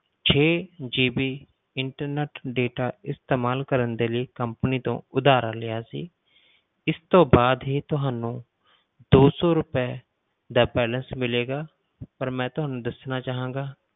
ਛੇ GB internet data ਇਸਤੇਮਾਲ ਕਰਨ ਦੇ ਲਈ company ਤੋਂ ਉਧਾਰਾ ਲਿਆ ਸੀ ਇਸ ਤੋਂ ਬਾਅਦ ਹੀ ਤੁਹਾਨੂੰ ਦੋ ਸੌ ਰੁਪਏ ਦਾ balance ਮਿਲੇਗਾ ਪਰ ਮੈਂ ਤੁਹਾਨੂੰ ਦੱਸਣਾ ਚਾਹਾਂਗਾ